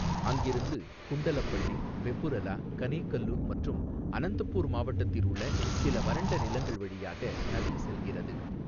அங்கிருந்து குண்டலப்பள்ளி, வெபுரலா, கனேகல்லு மற்றும் அனந்தபூர் மாவட்டத்தில் உள்ள சில வறண்ட நிலங்கள் வழியாக நதி செல்கிறது.